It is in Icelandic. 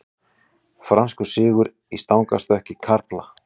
Franskur sigur í stangarstökki karla